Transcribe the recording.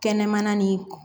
Kɛnɛmana nin